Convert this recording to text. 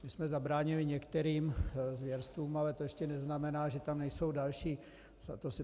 My jsme zabránili některým zvěrstvům, ale to ještě neznamená, že tam nejsou další.